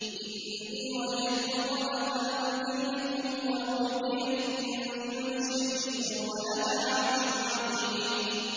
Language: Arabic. إِنِّي وَجَدتُّ امْرَأَةً تَمْلِكُهُمْ وَأُوتِيَتْ مِن كُلِّ شَيْءٍ وَلَهَا عَرْشٌ عَظِيمٌ